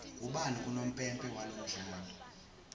ubani unompempe walomdlalo